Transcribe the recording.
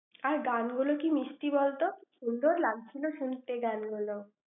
আর গানগুলো কি মিষ্টি বলত? সুন্দর লাগছিল শুনতে গান গুলো।